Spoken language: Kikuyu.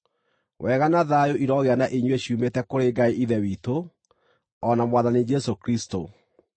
Wega na thayũ irogĩa na inyuĩ ciumĩte kũrĩ Ngai Ithe witũ, o na Mwathani Jesũ Kristũ.